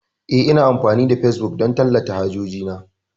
Eh, Ina amfani da facebook don tallata hajoji na.